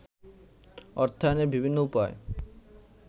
অর্থায়নের বিভিন্ন উপায়